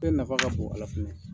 Bɛ nafa ka bon a la fɛnɛ